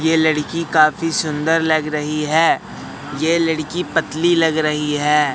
ये लड़की काफी सुंदर लग रही है ये लड़की पतली लग रही है।